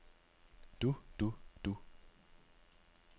du du du